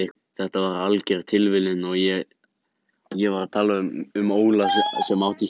Þetta var alger tilviljun, ég var að tala um Óla sem átti hjól.